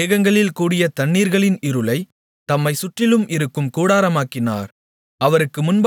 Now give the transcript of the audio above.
வானத்து மேகங்களில் கூடிய தண்ணீர்களின் இருளைத் தம்மைச் சுற்றிலும் இருக்கும் கூடாரமாக்கினார்